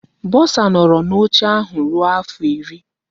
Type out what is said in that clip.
Bọsa nọọrọ n'oche ahụ ruo afọ iri.